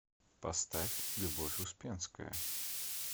поставь любовь успенская